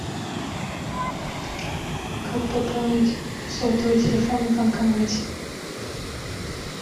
как пополнить сотовый телефон в банкомате